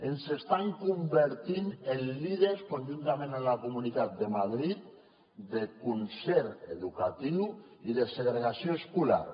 ens estan convertint en líders conjuntament amb la comunitat de madrid de concert educatiu i de segregació escolar